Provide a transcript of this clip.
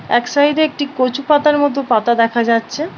এক সাইডে একটি কচু পাতার মতো পাতা দেখা যাচ্ছে ।